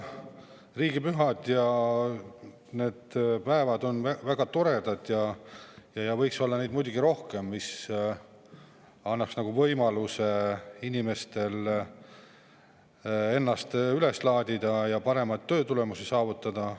Riigipühad ja sellised päevad on väga toredad ja neid võiks muidugi rohkem olla, kuna see annaks inimestele võimaluse ennast laadida ja paremaid töötulemusi saavutada.